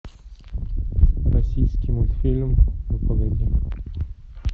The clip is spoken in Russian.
российский мультфильм ну погоди